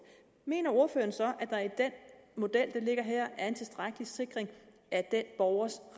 mener ordføreren så at der i den model der ligger her er en tilstrækkelig sikring af den borgers